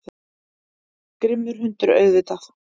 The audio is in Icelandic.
Grimmur hundur, auðvitað.